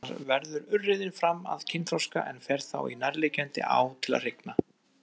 Þar verður urriðinn fram að kynþroska en fer þá í nærliggjandi á til að hrygna.